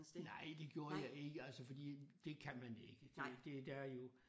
Nej det gjorde jeg ikke altså fordi det kan man ikke det det der jo